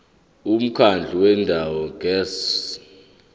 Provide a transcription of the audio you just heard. umkhandlu wendawo ngerss